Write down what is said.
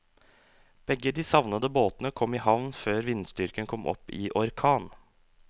Begge de savnede båtene kom i havn før vindstyrken kom opp i orkan.